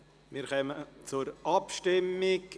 Wir kommen zur Abstimmung.